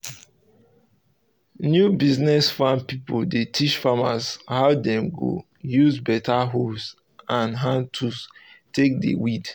new business farm pipo dey teach farmers how dem go use better hoes and hand tools take dey weed